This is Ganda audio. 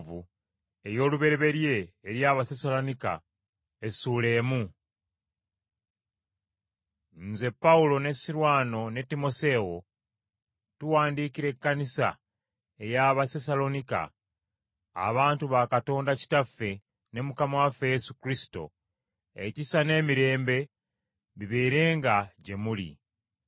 Nze Pawulo ne Sirwano ne Timoseewo, tuwandiikira Ekkanisa ey’Abasessaloniika, abantu ba Katonda Kitaffe ne Mukama waffe Yesu Kristo, ekisa n’emirembe bibeerenga gye muli.